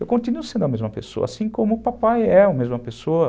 Eu continuo sendo a mesma pessoa, assim como o papai é a mesma pessoa.